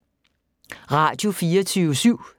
Radio24syv